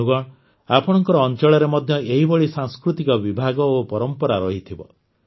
ବନ୍ଧୁଗଣ ଆପଣଙ୍କ ଅଞ୍ଚଳରେ ମଧ୍ୟ ଏହିଭଳି ସାଂସ୍କୃତିକ ବିଭାଗ ଓ ପରମ୍ପରା ରହିଥିବ